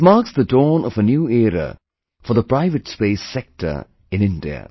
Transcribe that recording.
This marks the dawn of a new era for the private space sector in India